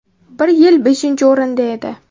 Bir yil beshinchi o‘rinda edi.